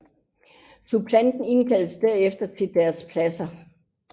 Suppleanter indkaldes derefter til deres pladser